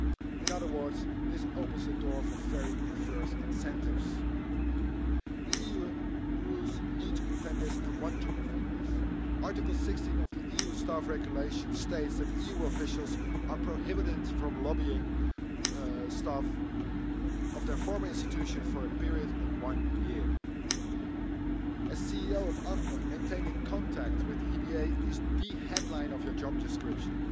In other words, this opens the door for very perverse incentives. The EU rules need to prevent this and want to prevent this. Article 16 of the EU Staff Regulations states that EU officials are prohibited from lobbying staff of their former institutions for a period of one year. As CEO of AFME, maintaining contact with the EBA is the headline of one's job description.